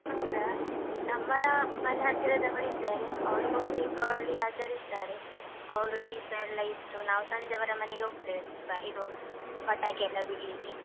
ಹೌದಾ? ನಮ್ಮ ಮನೆ ಹತ್ತಿರದವರಿದ್ದಾರೆ, ಅವರೂ ಕೂಡ ದೀಪಾವಳಿ ಆಚರಿಸ್ತಾರೆ, ಅವರು ದೀಪ ಎಲ್ಲ ಇಟ್ಟು, ನಾವು ಸಂಜೆ ಅವರ ಮನೆಗೆ ಹೋಗ್ತೇವೆ ದೀಪ ಇದು ಪಟಾಕಿ ಎಲ್ಲ ಬಿಡ್ಲಿಕ್ಕೆ.